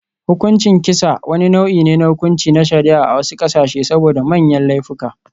Hukuncin kisa, wani nau'i ne na hukunci na shari'a a wasu ƙasashe saboda manyan laifuka.